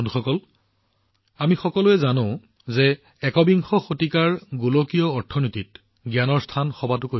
বন্ধুসকল আমি সকলোৱে জানো যে একবিংশ শতিকাৰ গোলকীয় অৰ্থনীতিত জ্ঞানেই হল সৰ্বাধিক